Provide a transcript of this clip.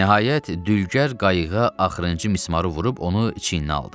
Nəhayət, dülgər qayığa axırıncı mismarı vurub onu çiyninə aldı.